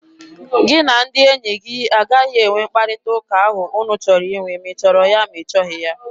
Gị na ndị enyi gị agaghị enwe mkparịta ụka ahụ unu chọrọ inwe! Ma ị chọrọ ya, ma ị chọghị ya!